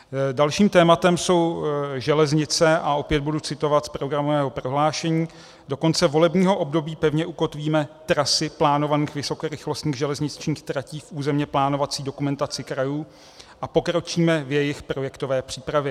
Dalším tématem jsou železnice a opět budu citovat z programového prohlášení: "Do konce volebního období pevně ukotvíme trasy plánovaných vysokorychlostních železničních tratí v územně plánovací dokumentaci krajů a pokročíme v jejich projektové přípravě."